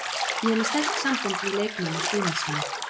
Ég er með sterk sambönd við leikmenn og stuðningsmenn.